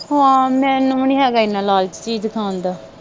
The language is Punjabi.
ਹਾਂ ਮੈਨੂੰ ਵੀ ਨਹੀਂ ਹੇਗਾ ਇਹਨਾ ਲਾਲਚ ਚੀਜ਼ ਖਾਣ ਦਾ।